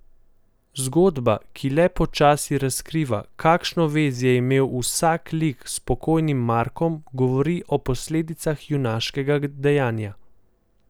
Zgodba, ki le počasi razkriva, kakšno vez je imel vsak lik s pokojnim Markom, govori o posledicah junaškega dejanja.